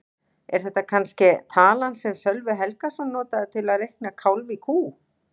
Er þetta kannske talan sem Sölvi Helgason notaði til að reikna kálf í kú?